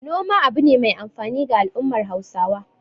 Noma abu ne mai amfani ga al'ummar Hausawa.